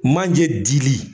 Manje dili.